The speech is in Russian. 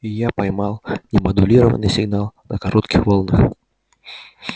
я поймал немодулированный сигнал на коротких волнах